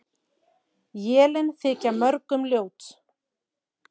Élin þykja mörgum ljót.